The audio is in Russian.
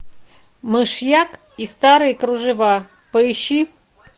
мышьяк и старые кружева поищи